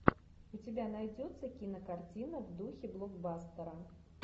у тебя найдется кинокартина в духе блокбастера